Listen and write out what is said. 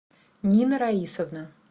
нина раисовна